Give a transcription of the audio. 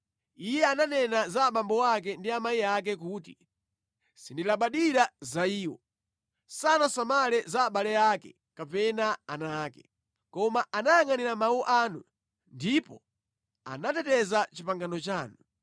Iye ananena za abambo ake ndi amayi ake kuti, ‘Sindilabadira za iwo.’ Sanasamale za abale ake kapena ana ake, koma anayangʼanira mawu anu ndipo anateteza pangano lanu.